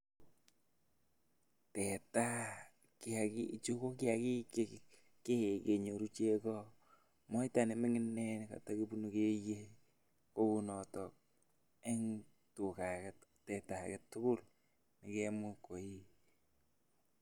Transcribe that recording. teta, kiakik chu ko kiakik chekikee menyoru cheko, moita nemi gin nekatekeye kou noton eng teta ake tukul nekamuch koi..